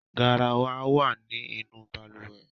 Garawa wa ni inu balùwẹ́